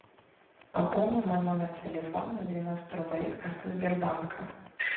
пополни мой номер телефона на девяносто рублей с карты сбербанка